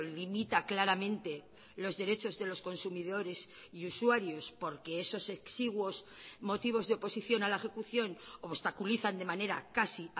limita claramente los derechos de los consumidores y usuarios porque esos exiguos motivos de oposición a la ejecución obstaculizan de manera casi